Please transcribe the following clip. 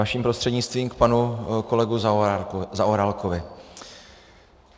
Vaším prostřednictvím k panu kolegovi Zaorálkovi.